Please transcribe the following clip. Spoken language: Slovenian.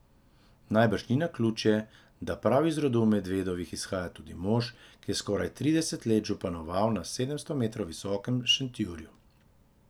Najbrž ni naključje, da prav iz rodu Medvedovih izhaja tudi mož, ki je skoraj trideset let županoval na sedemsto metrov visokem Šentjuriju.